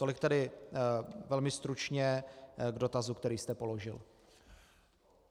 Tolik tedy velmi stručně k dotazu, který jste položil.